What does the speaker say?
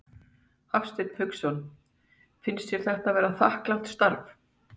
Hafsteinn Hauksson: Finnst þér þetta vera þakklátt starf?